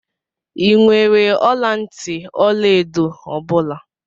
I nwèrè ọla ntị ọlaedo ọ bula?